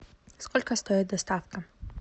сколько стоит доставка